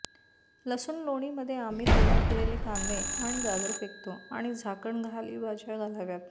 लसूण लोणीमध्ये आम्ही तयार केलेले कांदे आणि गाजर फेकतो आणि झाकण खाली भाज्या घालाव्यात